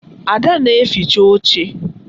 Ada na-eficha oche